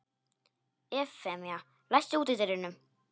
Evfemía, læstu útidyrunum.